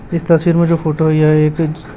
इस तस्वीर में जो फोटो है यह एक--